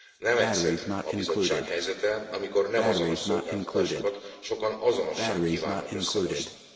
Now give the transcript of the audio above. Nem egyszerű a Bizottság helyzete, amikor nem azonos szolgáltatásokat sokan azonossá kívánnak összemosni.